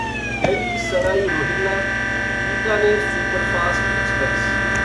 Delhi Sarai Rohilla Bikaner superfast express